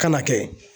Kana kɛ